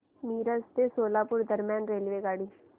मिरज ते सोलापूर दरम्यान रेल्वेगाडी